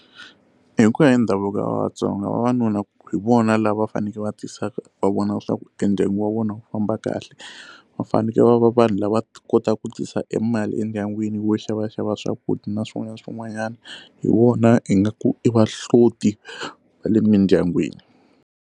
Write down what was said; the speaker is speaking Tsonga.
Hi ku ya hi ndhavuko wa vatsonga vavanuna hi vona lava va fanekele va tisa ku va vona leswaku e ndyangu wa vona wu famba kahle va fanekele va vanhu lava kotaku ku tisa e mali endyangwini wo xavaxava swakudya na swin'wana na swin'wanyana hi vona hi nga ku i vahloti va le mindyangwini.